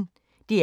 DR P1